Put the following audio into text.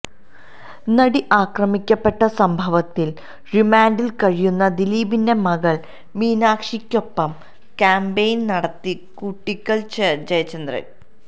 നടി ആക്രമിക്കപ്പെട്ട സംഭവത്തില് റിമാന്റില് കഴിയുന്ന ദിലീപിന്റെ മകള് മീനാക്ഷിക്കൊപ്പം കാമ്പെയ്ന് നടത്തി കൂട്ടിക്കല് ജയചന്ദ്രന്